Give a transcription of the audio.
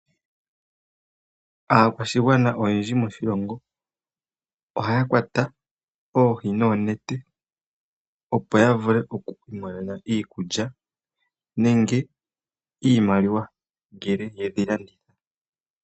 Aakwashigwana oyendji moshilongo ohaya kwata oohi noonete opo ya vule oku imonena iikulya nenge iimaliwa ngele yedhi landitha.